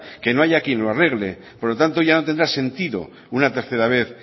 que no haya quien lo arregle por lo tanto ya no tendrá sentido una tercera vez